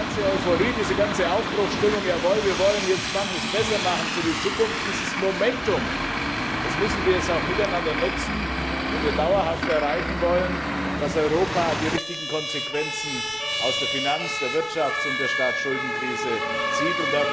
Die ganze Euphorie, die ganze Aufbruchstimmung jawohl, wir wollen jetzt manches besser machen für die Zukunft dieses Momentum, das müssen wir jetzt auch miteinander nutzen, wenn wir erreichen wollen, dass Europa dauerhaft die richtigen Konsequenzen aus der Finanz der Wirtschafts und der Staatsschuldenkrise zieht.